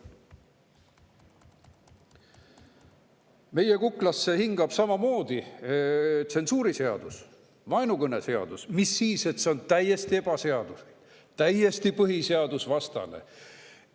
Meile hingab kuklasse tsensuuriseadus, vaenukõneseadus, mis siis, et see on täiesti ebaseaduslik, täiesti põhiseadusvastane.